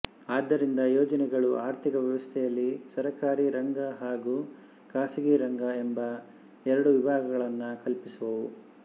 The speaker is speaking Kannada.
ಆದ್ದರಿಂದ ಯೋಜನೆಗಳು ಆರ್ಥಿಕ ವ್ಯವಸ್ಥೆಯಲ್ಲಿ ಸರಕಾರೀ ರಂಗ ಹಾಗೂ ಖಾಸಗೀ ರಂಗ ಎಂಬ ಎರಡು ವಿಭಾಗಗಳನ್ನು ಕಲ್ಪಿಸುವುವು